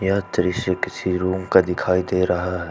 यह दृश्य किसी रूम का दिखाई दे रहा है।